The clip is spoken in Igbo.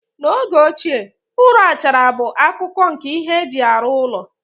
N'oge ochie, ụrọ, achara bụ akụkụ nke ihe eji arụ ụlọ.